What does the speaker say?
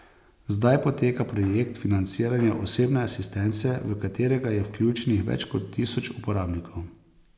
Zdaj poteka projekt financiranja osebne asistence, v katerega je vključenih več kot tisoč uporabnikov.